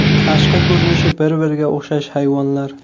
Tashqi ko‘rinishi bir-biriga o‘xshash hayvonlar.